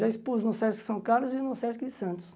Já expus no Sesc São Carlos e no Sesc Santos.